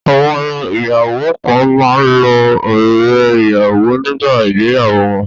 Àwọn ìyàwó kan máa ń lo ọrẹ́-ìyàwọ nígbà ìgbéyàwó wọn.